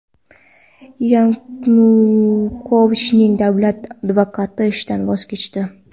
Yanukovichning davlat advokati ishdan voz kechdi.